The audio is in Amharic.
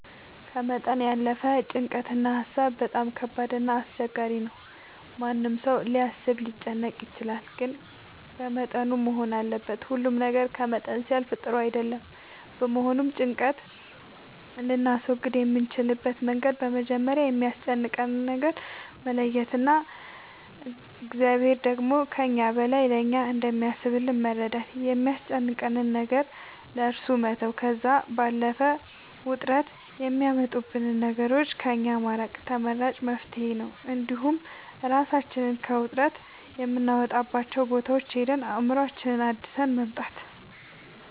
ከመጠን ያለፈ ጭንቀት እና ሀሳብ በጣም ከባድ እና አስቸጋሪ ነው ማንም ሰው ሊያስብ ሊጨነቅ ይችላል ግን በመጠኑ መሆን አለበት ሁሉ ነገር ከመጠን ሲያልፍ ጥሩ አይደለም በመሆኑም ጭንቀት ልናስወግድ የምንችልበት መንገድ መጀመሪያ የሚያስጨንቀንን ነገር መለየት እና እግዚአብሔር ደግሞ ከእኛ በላይ ለእኛ እንደሚያስብልን በመረዳት የሚያስጨንቀንን ነገር ለእሱ መተው ከዛም ባለፈ ውጥረት የሚያመጡብንን ነገሮች ከእኛ ማራቅ ተመራጭ መፍትሄ ነው እንዲሁም እራሳችንን ከውጥረት የምናወጣባቸው ቦታዎች ሄደን አእምሮአችንን አድሰን መምጣት